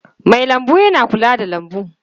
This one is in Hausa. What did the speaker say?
Mai lambu yana kula da lambu.